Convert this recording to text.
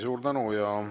Suur tänu!